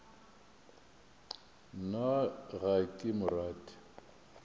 nna ga ke mo rate